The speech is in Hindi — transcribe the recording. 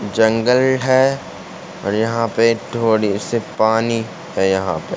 जंगल है और यहाँ पे थोड़ी से पानी है यहाँ पर।